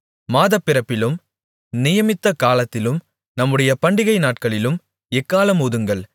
மாதப்பிறப்பிலும் நியமித்தகாலத்திலும் நம்முடைய பண்டிகைநாட்களிலும் எக்காளம் ஊதுங்கள்